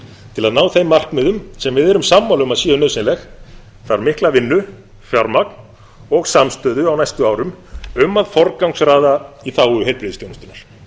til að ná þeim markmiðum sem við erum sammála um að séu nauðsynleg þarf mikla vinnu fjármagn og samstöðu á næstu árum um að forgangsraða í þágu heilbrigðisþjónustunnar